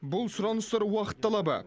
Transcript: бұл сұраныстар уақыт талабы